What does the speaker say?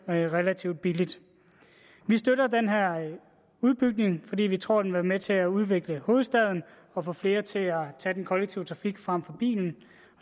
relativt billigt vi støtter den her udbygning fordi vi tror at det med til at udvikle hovedstaden og få flere til at tage den kollektive trafik frem for bilen